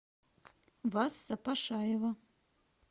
васса пашаева